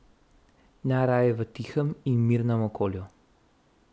Najraje v tihem in mirnem okolju.